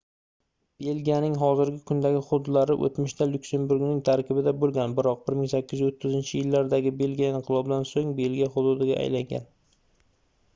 belgiyaning hozirgi kundagi hududlari oʻtmishda lyuksemburgning tarkibida boʻlgan biroq 1830-yillardagi belgiya inqilobidan soʻng belgiya hududiga aylangan